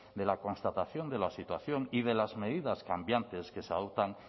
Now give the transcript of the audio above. de la constatación de la situación y de las medidas cambiantes que se adoptan